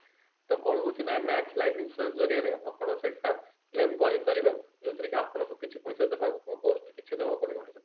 ତ କଣ ହଉଛି ନା max life insurance ଜରିଆରେ ଆପଣ ସେଟା claim କରିପାରିବେ ଯୋଉଥିରେ କି ଆପଣଙ୍କୁ କିଛି ପଇସା ଦେବାକୁ କିଛି ଦେବାକୁ ପଡିବନି